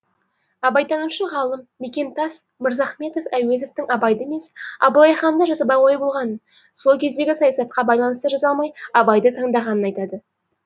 абайтанушы ғалым мекемтас мырзахметов әуезовтің абайды емес абылайханды жазбақ ойы болғанын сол кездегі саясатқа байланысты жаза алмай абайды таңдағанын айтады